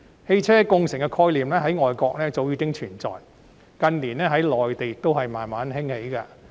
汽車共乘的概念在外國早已經存在，近年在內地亦漸漸盛行。